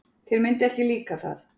Þér myndi ekki líka það.